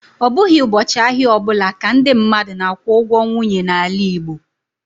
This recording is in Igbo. Ọ bụghị ụbọchị ahịa ọ bụla ka ndị mmadụ na-akwụ ụgwọ nwunye n'ala Igbo